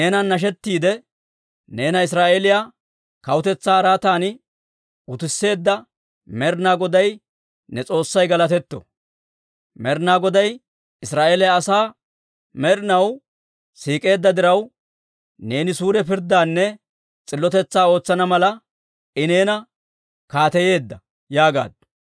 Neenan nashettiidde, neena Israa'eeliyaa kawutetsaa araatan utisseedda Med'inaa Goday ne S'oossay galatetto! Med'inaa Goday Israa'eeliyaa asaa med'inaw siik'eedda diraw, neeni suure pirddaanne s'illotetsaa ootsana mala I neena kaateyeedda» yaagaaddu.